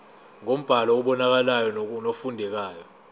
ngombhalo obonakalayo nofundekayo